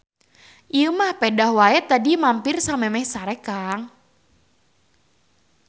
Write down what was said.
Ieu mah pedah wae tadi mampir samemeh sare Kang.